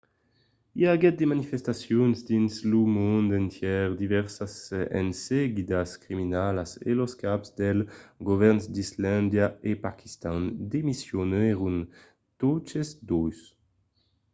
i aguèt de manifestacions dins lo mond entièr divèrsas enseguidas criminalas e los caps dels govèrns d'islàndia e paquistan demissionèron totes dos